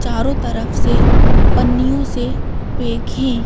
चारों तरफ से पन्नियों से पेक है ।